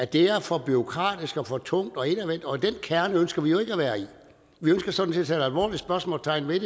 det er for bureaukratisk og for tungt og indadvendt og den kerne ønsker vi jo i vi ønsker sådan set at alvorligt spørgsmålstegn ved